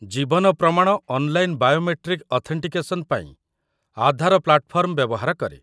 ଜୀବନ Pramaan' online biometric authentication ପାଇଁ Aadhaar platform ବ୍ୟବହାର କରେ ।